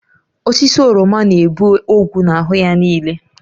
Osisi oroma na-ebu ogwu na-ahụ ya niile